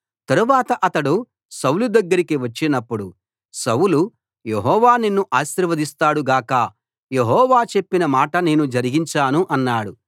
తరువాత అతడు సౌలు దగ్గరకి వచ్చినపుడు సౌలు యెహోవా నిన్ను ఆశీర్వదిస్తాడు గాక యెహోవా చెప్పిన మాట నేను జరిగించాను అన్నాడు